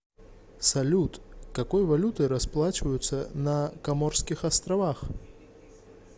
салют какой валютой расплачиваются на коморских островах